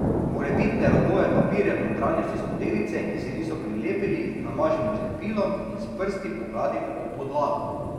Morebitne robove papirja v notranjosti skodelice, ki se niso prilepili, namažemo z lepilom in s prsti pogladimo ob podlago.